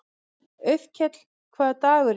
Auðkell, hvaða dagur er í dag?